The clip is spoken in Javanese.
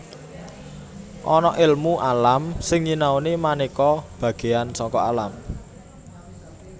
Ana èlmu alam sing nyinaoni manéka bagéan saka alam